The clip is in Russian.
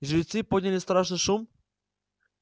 жрецы подняли страшный шум